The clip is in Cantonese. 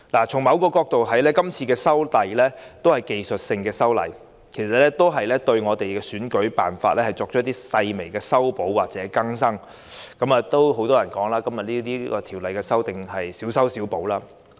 從某角度來看，今次修例屬於技術性修訂，對選舉辦法作出一些細微修補或更新，對很多人來說是小修小補。